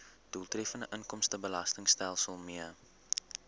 doeltreffende inkomstebelastingstelsel mee